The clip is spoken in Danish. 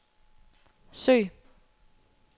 søg